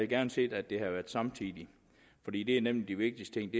gerne set at det havde været samtidig fordi det er nemlig de vigtigste